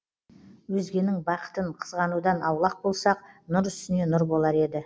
өзгенің бақытын қызғанудан аулақ болсақ нұр үстіне нұр болар еді